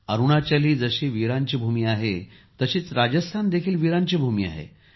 अरुणाचल ही जशी वीरांची भूमी आहे तशीच राजस्थान देखील वीरांची भूमी आहे